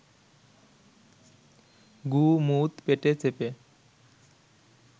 গু মুত পেটে চেপে